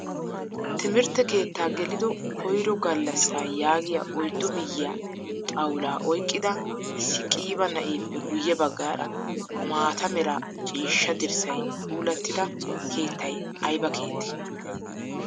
Timirtte keetta gelido koyro gallassa yaagiyaa oyddu miyiyaa xawulla oyqqida issi qiiba na'eppe guye baggaara maataa meera ciishshaa dirssay puulattida keettay ayba keettee?